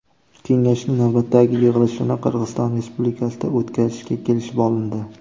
Kengashning navbatdagi yig‘ilishini Qirg‘iziston Respublikasida o‘tkazishga kelishib olindi.